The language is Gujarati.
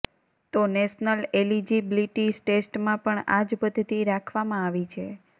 તો નેશનલ એલીજીબ્લીટી ટેસ્ટમાં પણ આજ પઘ્ધતિ રાખવામાં આવી છે